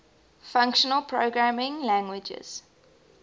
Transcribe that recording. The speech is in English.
functional programming languages